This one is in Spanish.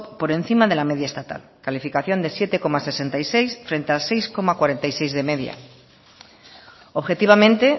por encima de la media estatal calificación de siete coma sesenta y seis frente al seis coma cuarenta y seis de media objetivamente